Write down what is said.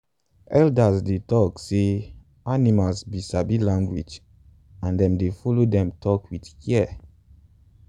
elders dey tok say animals be sabi language and them dey follow them talk with care.